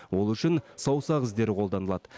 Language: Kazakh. ол үшін саусақ іздері қолданылады